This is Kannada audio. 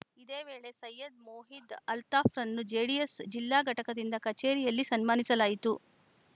ಇದೇ ವೇಳೆ ಸೈಯದ್‌ ಮೊಹಿದ್‌ ಅಲ್ತಾಫ್‌ರನ್ನು ಜೆಡಿಎಸ್‌ ಜಿಲ್ಲಾ ಘಟಕದಿಂದ ಕಚೇರಿಯಲ್ಲಿ ಸನ್ಮಾನಿಸಲಾಯಿತು